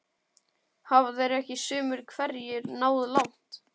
Hafa þeir ekki sumir hverjir náð langt?